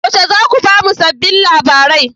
Yaushe za ku ba mu sabbin labarai?